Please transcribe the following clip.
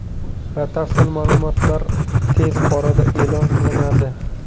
Batafsil ma’lumotlar tez orada e’lon qilinadi.